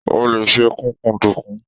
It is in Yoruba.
O lè se kúkúǹdùkú.